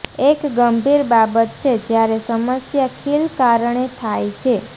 એક ગંભીર બાબત છે જ્યારે સમસ્યા ખીલ કારણે થાય છે